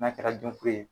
N'a kɛra jɔnfiri ye